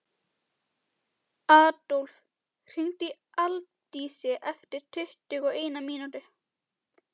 Adólf, hringdu í Aldísi eftir tuttugu og eina mínútur.